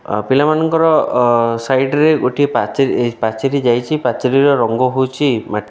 ଆ ପିଲାମାନଙ୍କର ସାଇଡ୍‌ ରେ ଗୋଟିଏ ପାଚେରୀ ପାଚେରୀ ଯାଇଛି ପାଚେରୀର ରଙ୍ଗ ହଉଛି ମାଟିଆ --